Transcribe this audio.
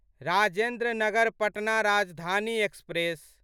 Rajendra Nagar Patna Rajdhani express